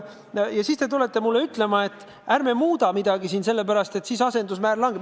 Ja siis te tulete mulle ütlema, et ärme muudame midagi, sellepärast et muutmise korral asendusmäär langeb.